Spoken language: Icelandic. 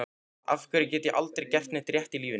Af hverju get ég aldrei gert neitt rétt í lífinu?